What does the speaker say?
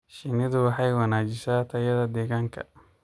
Shinnidu waxay wanaajisaa tayada deegaanka.